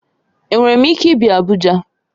Enwere m ike ịbịa Abuja?